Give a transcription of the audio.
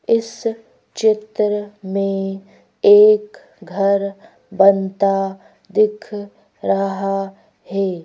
इस चित्र में एक घर बनता दिख रहा हे।